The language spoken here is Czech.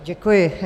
Děkuji.